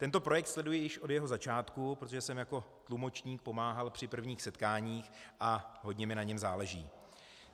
Tento projekt sleduji již od jeho začátku, protože jsem jako tlumočník pomáhal při prvních setkáních a hodně mi na něm záleží.